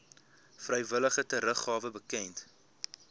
vrywillige teruggawe bekend